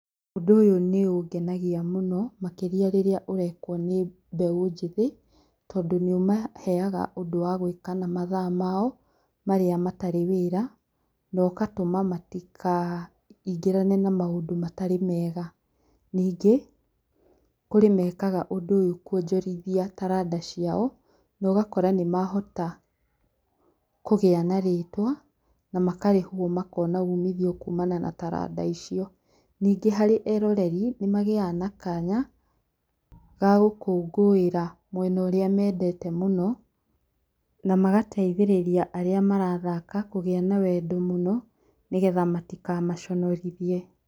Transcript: Ũndũ ũyũ nĩ ũngenagia mũno makĩria rĩrĩa ũrekwo nĩ mbeũ njĩthĩ, tondũ nĩ ũmaheaga ũndũ wa gwĩka na mathaa mao, marĩa matarĩ wĩra na ũgatũma matikaingĩrane na maũndũ matarĩ mega. Ningĩ, kũrĩ meekaga ũndũ ũyũ kũonjorithia taranda ciao, na ũgakora nĩ mahota kũgĩa na rĩtwa na makarĩhwo makona uumithio kuumana na taranda icio. Ningĩ harĩ eroreri, nĩ magĩaga na kanya ga gũkũngũĩra mwena ũrĩa meendete mũno, na magateithĩrĩria arĩa marathaka kũgĩa na wendo mũno nĩgetha matikamaconorithie.